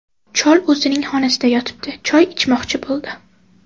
Chol o‘zining xonasida yotibdi, choy ichmoqchi bo‘ldi.